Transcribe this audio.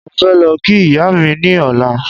Mo fẹ́ lọ kí ìyá mi ní ọ̀la